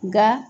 Nka